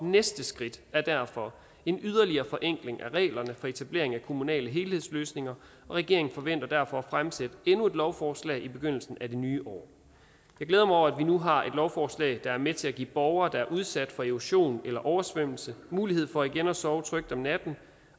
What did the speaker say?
næste skridt er derfor en yderligere forenkling af reglerne for etablering af kommunale helhedsløsninger og regeringen forventer derfor at fremsætte endnu et lovforslag i begyndelsen af det nye år jeg glæder mig over at vi nu har et lovforslag der er med til at give borgere der er udsat for erosion eller oversvømmelse mulighed for igen at sove trygt om natten